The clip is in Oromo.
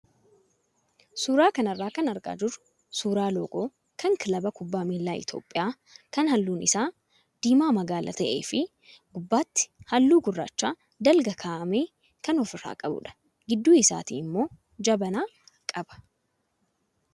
Suuraa kanarraa kan argaa jirru suuraa loogoo kkan kilaba kubbaa miilaa Itoophiyaa kan halluun isaa diimaa magaala ta'ee fi gubbaatti halluu gurraacha dalga kaa'ame kan ofirraa qabudha. Gidduu isaatti immoo jabanaa qaba.